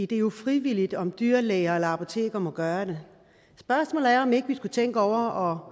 det er jo frivilligt om dyrlæger eller apoteker vil gøre det spørgsmålet er om ikke vi skulle tænke over